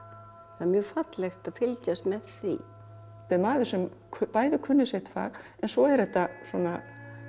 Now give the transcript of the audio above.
það er mjög fallegt að fylgjast með því þetta er maður sem bæði kunni sitt fag en svo eru þetta svona